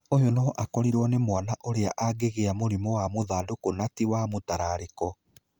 Ũyũ no akorirwo nĩ mwana, ũrĩa angĩgia mũrimũ wa mũthandũkũ na ti wa mũtarariko.